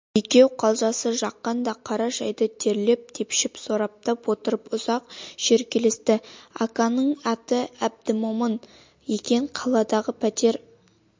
екеу қалжасы жаққандай қара шайды терлеп-тепшіп сораптап отырып ұзақ шүйіркелесті аканың аты әбдімомын екен қаладағы пәтер